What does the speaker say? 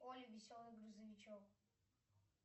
олли веселый грузовичок